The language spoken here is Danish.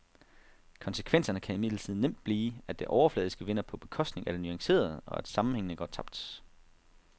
Konsekvenserne kan imidlertid nemt blive, at det overfladiske vinder på bekostning af det nuancerede, og at sammenhængene går tabt.